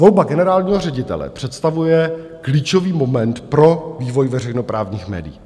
Volba generálního ředitele představuje klíčový moment pro vývoj veřejnoprávních médií.